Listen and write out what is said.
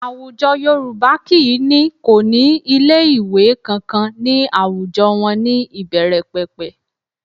Àwùjọ Yorùbá kì í ní kò ní ilé ìwé kankan ní àwùjọ wọn ní ìbẹ̀rẹ̀pẹ̀pẹ̀